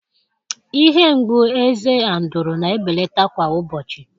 Ihe mgbu eze Andrụ̀ na-ebelata kwa ụbọchị